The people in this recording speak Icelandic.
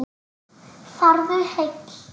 Farðu heill.